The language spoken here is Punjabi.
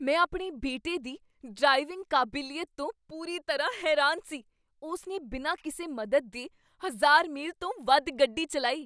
ਮੈਂ ਆਪਣੇ ਬੇਟੇ ਦੀ ਡ੍ਰਾਈਵਿੰਗ ਕਾਬਲੀਅਤ ਤੋਂ ਪੂਰੀ ਤਰ੍ਹਾਂ ਹੈਰਾਨ ਸੀ! ਉਸ ਨੇ ਬਿਨਾਂ ਕਿਸੇ ਮਦਦ ਦੇ ਹਜ਼ਾਰ ਮੀਲ ਤੋਂ ਵੱਧ ਗੱਡੀ ਚੱਲਾਈ!